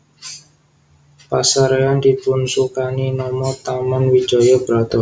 Pasarean dipunsukani nama Taman Wijaya Brata